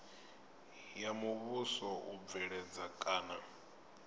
ya muvhuso u bveledza kana